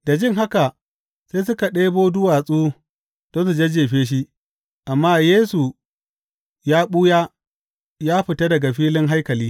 Da jin haka sai suka ɗebo duwatsu don su jajjefe shi, amma Yesu ya ɓuya, ya fita daga filin haikali.